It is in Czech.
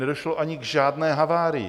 Nedošlo ani k žádné havárii.